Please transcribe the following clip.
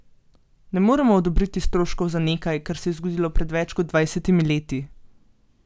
Ne moremo odobriti stroškov za nekaj, kar se je zgodilo pred več kot dvajsetimi leti.